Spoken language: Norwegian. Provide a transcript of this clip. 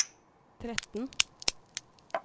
tretten